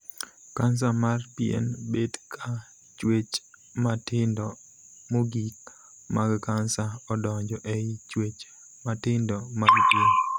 Kansa mar pien bet ka chuech matindo mogik mag kansa odonjo ei chuech matindo mag pien.